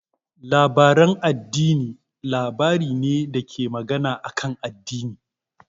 Labarin addini labari ne dake magana akan addini.